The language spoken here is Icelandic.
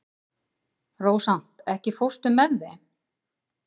Rósant, ekki fórstu með þeim?